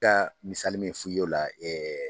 ka misali min f'i ye o la